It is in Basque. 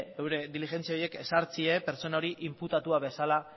bere diligentzia horiek ezartzea pertsona hori inputatua bezala